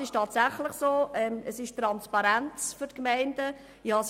Es ist tatsächlich so und für die Gemeinden transparent.